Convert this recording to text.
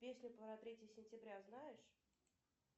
песню про третье сентября знаешь